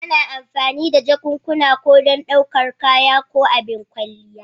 Ana amfani da jakunkuna ko don ɗaukar kaya ko abin kwalliya.